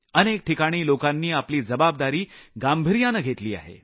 अनेक ठिकाणी लोकांनी आपली जबाबदारी गांभिर्यानं घेतली आहे